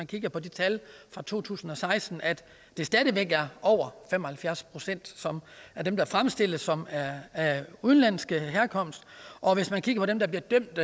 kigger på tallene fra to tusind og seksten at det stadig væk er over fem og halvfjerds procent af dem der fremstilles som er af udenlandsk herkomst og hvis man kigger på dem der bliver dømt